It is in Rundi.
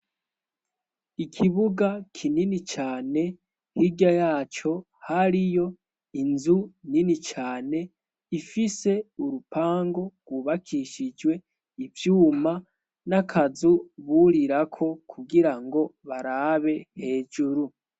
Ikibuga kinini cane. Hirya yaco hariyo inzu nini cane ifise urupango rwubakishijwe ivyuma, n'akazu burirako kugira ngo barabe hejuru.